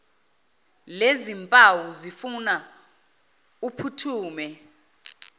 lezimpawu zifuna uphuthume